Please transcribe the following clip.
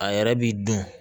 A yɛrɛ b'i dun